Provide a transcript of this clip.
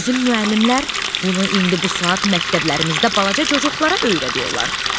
Bizim müəllimlər bunu indi bu saat məktəblərimizdə balaca cocuqlara öyrədirlər.